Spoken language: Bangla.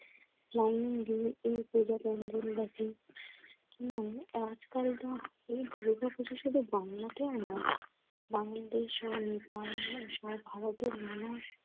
লাইন দিয়ে এ পুজা কেন ধরে রাখে এবং আজকালতো এ দুর্গাপুজোর সাথে বাংলাকে আমার। বাঙালিদের স্মরণে বাংলাদেশসহ নেপাল ভারতের নানা